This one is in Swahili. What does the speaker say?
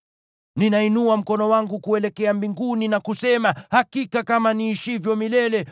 Ninainua mkono wangu kuelekea mbinguni na kusema: Hakika kama niishivyo milele,